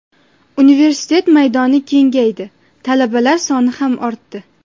Universitet maydoni kengaydi, talabalar soni ham ortdi.